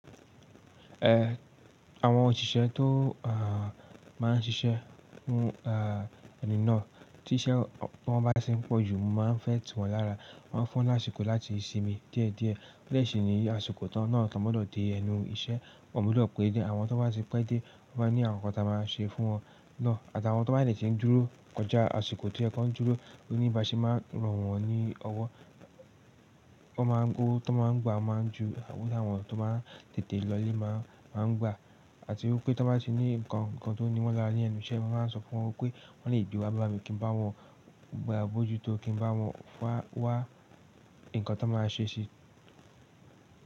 Eh, àwọn òṣìṣẹ́ tó, ah, máa ń ṣiṣẹ́ nínú, ah, ẹnu náà tí iṣẹ́ wọn bá ti n pọ̀ jù mo máa ń fẹ́ tuwọ̀n lára. Maa fún láṣipò láti sinmi díẹ̀díẹ̀. Bẹ ṣi ni àsìkò tán náà, tán gbọdọ dé ẹnu iṣẹ́, wọ́n gbúdọ̀ pé ja. Àwọn tó bá ti pẹ dé, o máa n ní àwọn nǹkan tí a máa ṣe fún wọn náà àti àwọn tó bá dẹ ti ń dúró kọjá àsìkò tí o yẹ kọ ń dúró, oníbaṣe máa ràn wọ́n ní ọwọ́. Wọ́n máa ń gbowo, tó máa ń gbà, o máa ń ju, owo t'awọn to máa ń tètè lọ le máa ń, máa ń gbà àti wipé tó bá ti ní ǹkan kan tó n níwọ̀n lára ní enú iṣẹ́, mo máa sọ fún wọn pé wọ́n lè gbe wá bá mi kí n bá wọn gbà bó jù tó, kí n bá wọn wá ǹkan tọn máa ṣe sí.